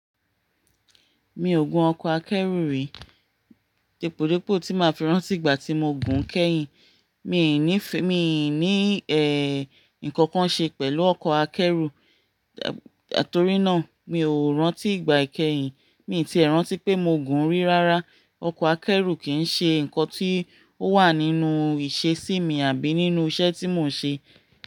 Mi ò gùn ọkọ̀ akẹ́rù rí. Depòdepò tí màá fẹ́ rántí ìgbà tí mo gùn kẹ́yìn, mi n nífẹ̀, mi n ní ẹ, ǹkan kan ṣe pẹ̀lú ọkọ̀ akẹ́rù. Nítorí náà mi ò rántí ìgbà ìkẹ́yìn. Mi ti ẹ̀ rántí pé mo gùn rí rárá. Ọkọ̀ akẹ́rù kì í ṣe ǹkan tí ó wà nínú ìṣesí mi àbí nínú iṣẹ́ tí mò ń ṣe.